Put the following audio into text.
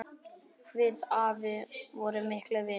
Við afi vorum miklir vinir.